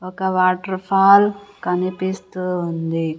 ఒక వాటర్ఫాల్ కనిపిస్తూ ఉంది.